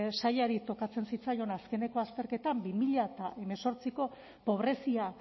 sailari tokatzen zitzaion azkeneko azterketa bi mila hemezortziko pobrezia